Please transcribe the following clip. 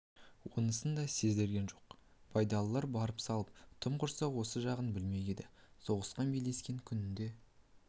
онысын да сездірген жоқ байдалылар барын салып тым құрса осы жағын білмек еді соғысқан белдескен күнінде